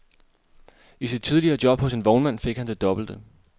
I sit tidligere job hos en vognmand fik han det dobbelte.